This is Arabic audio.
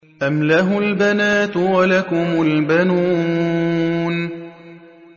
أَمْ لَهُ الْبَنَاتُ وَلَكُمُ الْبَنُونَ